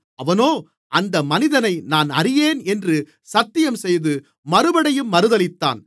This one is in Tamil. அவனோ அந்த மனிதனை நான் அறியேன் என்று சத்தியம் செய்து மறுபடியும் மறுதலித்தான்